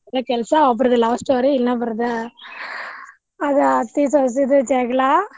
ಅದ ಕೆಲ್ಸಾ ಒಬ್ಬರ್ದ love story ಇನ್ನೊಬ್ಬರದ ಅದ್ ಅತ್ತಿ ಸೋಸಿದು ಜಗ್ಳಾ.